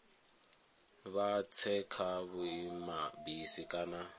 vha tse kha vhuimabisi kana